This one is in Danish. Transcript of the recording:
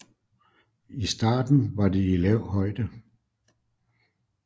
I starten var det i lav højde